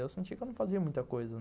Eu senti que eu não fazia muita coisa.